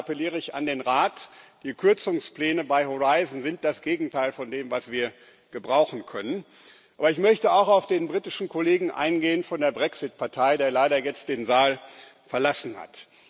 Und da appelliere ich an den Rat Die Kürzungspläne bei Horizon sind das Gegenteil von dem, was wir gebrauchen können. Aber ich möchte auch auf den britischen Kollegen von der Brexit Partei eingehen, der leider jetzt den Saal verlassen hat.